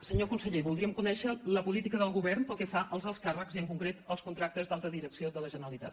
senyor conseller voldríem conèixer la política del govern pel que fa als alts càrrecs i en concret als contractes d’alta direcció de la generali·tat